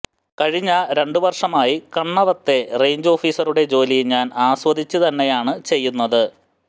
കഴിഞ്ഞ രണ്ട് വർഷമായി കണ്ണവത്തെ റെയ്ഞ്ച് ഓഫീസറുടെ ജോലി ഞാൻ ആസ്വദിച്ച് തന്നെയാണ് ചെയ്യുന്നത്